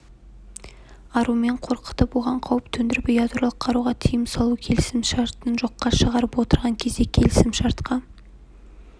аруымен қорқытып оған қауіп төндіріп ядролық қаруға тыйым салу келісімшартын жоққа шығарып отырған кезде келісімшартқа